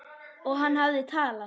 Og hann hafði talað.